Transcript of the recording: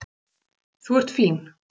Þú ert fín.